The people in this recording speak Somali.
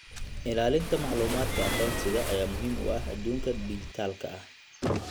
Ilaalinta macluumaadka aqoonsiga ayaa muhiim u ah adduunka dhijitaalka ah.